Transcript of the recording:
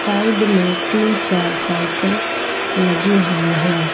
Side में तीन चार साइकल लगी हुई हैं।